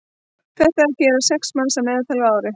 þetta gera sex manns að meðaltali á ári